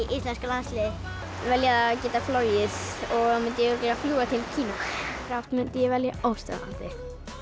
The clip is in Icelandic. íslenska landsliðið velja að geta flogið og þá mundi ég fljúga til Kína þá mundi ég velja óstöðvandi